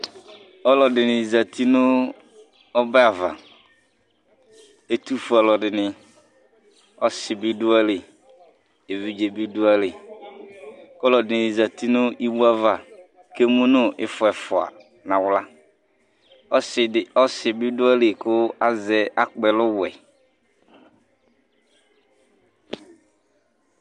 Ɔlu ɛɖìní zɛti ŋu ɔbɛ ava Ɛtʋfʋe aluɛɖìŋí: ɔsi bi ɖʋ aɣili, evidze bi ɖʋ aɣili Ɔlu ɛɖìní zɛti ŋu iwe ava kʋ emʋŋu ifɔ ɛfʋa nava Ɔsi bi ɖʋ aɣili kʋ akpi ɛlu ɔwɛ